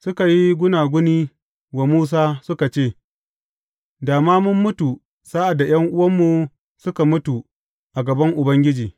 Suka yi gunaguni wa Musa suka ce, Da ma mun mutu sa’ad da ’yan’uwanmu suka mutu a gaban Ubangiji!